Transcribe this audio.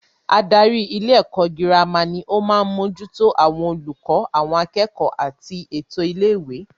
Adarí ilé ẹ̀kọ́ girama ni o maá mójútó àwọn olùkọ́, àwọn akẹ́kọ̀ọ́ àti ètò ilé ìwé